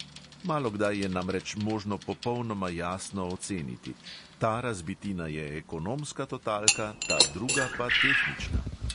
Malokdaj je namreč možno popolnoma jasno oceniti: "ta razbitina je ekonomska totalka, ta druga pa tehnična!"